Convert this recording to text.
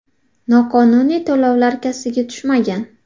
Noqonuniy to‘lovlar kassaga tushmagan.